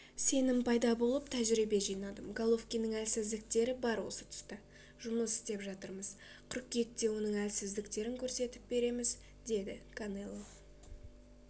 сенім пайда болып тәжірибе жинадым головкиннің әлсіздіктері бар осы тұста жұмыс істеп жатырмыз қыркүйекте оның әлсіздіктерін көрсетіп береміз деді канело